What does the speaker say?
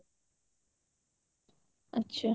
ଆଛା